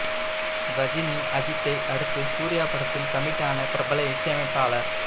ரஜினி அஜித்தை அடுத்து சூர்யா படத்தில் கமிட் ஆன பிரபல இசையமைப்பாளர்